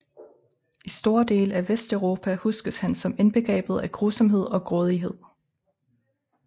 I store dele af Vesteuropa huskes han som indbegrebet af grusomhed og grådighed